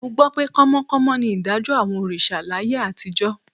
Mo gbọ́ pé kánmọ́kánmọ́ ni ìdájọ́ àwọn òrìṣà láyé àtijọ́